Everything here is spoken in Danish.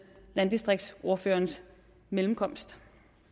landdistriktsordførerens mellemkomst